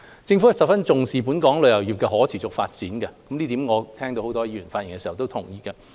政府十分重視本港旅遊業的可持續發展，這點我聽到很多議員在發言的時候都同意。